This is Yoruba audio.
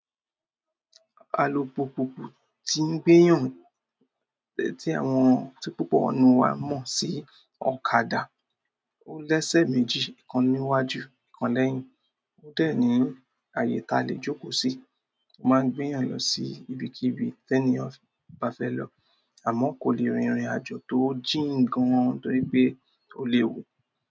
Alùpùpù tí ń gbé yàn tí àwọn, tí púpọ̀ ńnú un wa mọ̀ sí ọ̀kadà. Ó lẹ́sẹ̀ méjì, ìkan níwájú, ìkan lẹ́yìn. Ó dẹ̀ ní ààyè ta lè jókòó sí. Ó máa ń gbé yàn lọ sí ibikíbi ténìyàn bá fẹ́ lọ, àmọ́ kò lè rìn ìrìnàjò tó jìnn gan torí pé ó léwu.